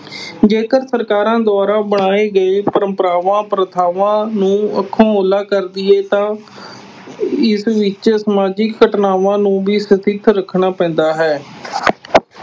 ਜੇਕਰ ਸਰਕਾਰ ਦੁਆਰਾ ਬਣਾਈਆਂ ਗਈਆਂ ਪਰੰਪਰਾਵਾਂ, ਪ੍ਰਥਾਵਾਂ ਨੂੰ ਅੱਖੋਂ ਉਹਲਾ ਕਰ ਦੇਈਏ ਤਾਂ ਇਸ ਵਿੱਚ ਸਮਾਜਿਕ ਘਟਨਾਵਾਂ ਨੂੰ ਵੀ ਰੱਖਣਾ ਪੈਂਦਾ ਹੈ।